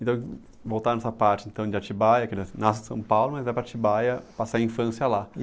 voltar nessa parte, então, de Atibaia, que na nasce em São Paulo, mas vai para Atibaia passar a infância lá.